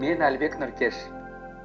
мен әлібек нұркеш